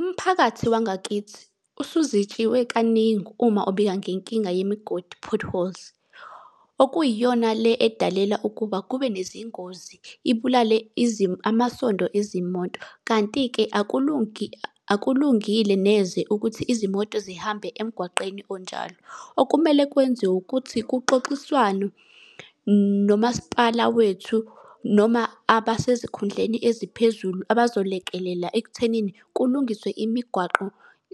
Umphakathi wangakithi usuzitshiwe kaningi uma ubika ngenkinga yemigodi, potholes. Okuyiyona le edalela ukuba kube nezingozi, ibulale amasondo ezimoto. Kanti-ke akulungile neze ukuthi izimoto zihambe emgwaqeni onjalo. Okumele kwenziwe ukuthi kuxoxiswane nomasipala wethu noma abasezikhundleni eziphezulu abazolekelela ekuthenini kulungiswe imigwaqo